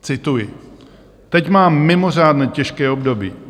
Cituji: "Teď mám mimořádné těžké období.